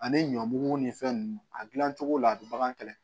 Ani ɲɔ bugu ni fɛn nunnu a dilancogo la a bɛ bagan kɛlɛ